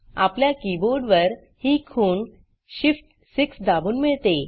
आपल्या कीबोर्डवर ही खूण shift6 दाबून मिळते